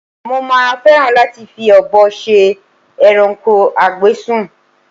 Mo máa fẹ́ràn láti fi ọ̀bọ ṣe ẹranko a gbé sùn